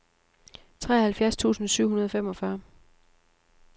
treoghalvfjerds tusind syv hundrede og femogfyrre